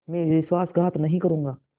मैं विश्वासघात नहीं करूँगा